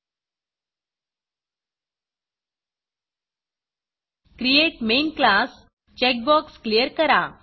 create main class create main class checkbox clear करा